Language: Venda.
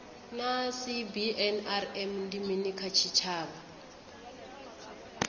naa cbnrm ndi mini kha tshitshavha